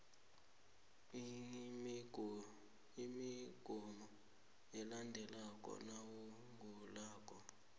imigomo elandelwako nawugulako